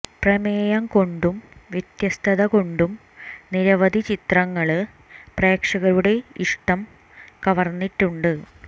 പ്രമേയം കൊണ്ടും വ്യത്യസ്തത കൊണ്ടും നിരവധി ചിത്രങ്ങള് പ്രേക്ഷകരുടെ ഇഷ്ടം കവര്ന്നിട്ടുണ്ട്